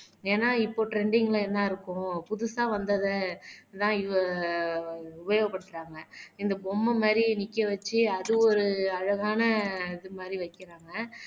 ஏன்னா இப்போ ட்ரெண்டிங்ல என்ன இருக்கும் புதுசா வந்தததான் உபயோகப்படுத்துறாங்க இந்த பொம்மை மாதிரி நிக்க வச்சு அது ஒரு அழகான இது மாதிரி வைக்கிறாங்க.